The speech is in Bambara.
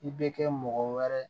I bɛ kɛ mɔgɔ wɛrɛ